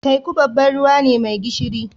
Teku babban ruwa ne mai gishiri.